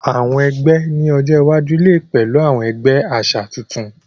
Àwọn egbé ní ọjọ iwájú lẹ pẹlú àwọn ẹgbẹ àṣà tuntun.